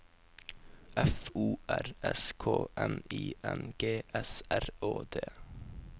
F O R S K N I N G S R Å D